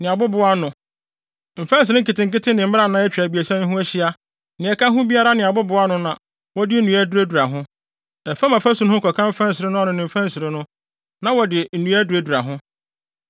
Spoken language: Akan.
ne abobow ano, mfɛnsere nketenkete ne mmrannaa a atwa abiɛsa yi ho ahyia, nea ɛka ho biara ne abobow ano na wɔde nnua aduradura ho. Ɛfam afasu no ho kɔka mfɛnsere no ano ne mfɛnsere no, na wɔde nnua aduradura ho.